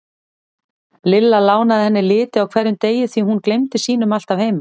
Lilla lánaði henni liti á hverjum degi því hún gleymdi sínum alltaf heima.